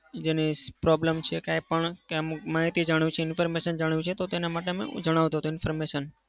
જેની problem છે કાંઈ પણ કે અમુક માહિતી જાણવી છે information જાણવી છે તો તેના માટે હું જણાવતો હતો information.